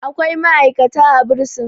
akwai ma'aikata a bursin